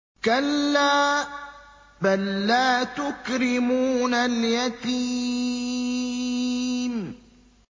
كَلَّا ۖ بَل لَّا تُكْرِمُونَ الْيَتِيمَ